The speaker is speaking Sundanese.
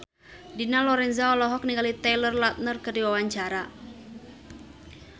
Dina Lorenza olohok ningali Taylor Lautner keur diwawancara